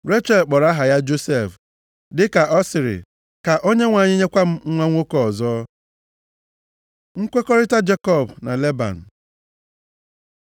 Rechel kpọrọ aha ya Josef, dị ka ọ sịrị, “Ka Onyenwe anyị nyekwa m nwa nwoke ọzọ.” Nkwekọrịta Jekọb na Leban